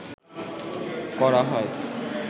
করা হয়